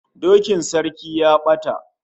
Dokin sarki ya bata